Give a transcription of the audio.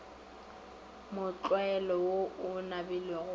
mohlwaela wo o nabilego wa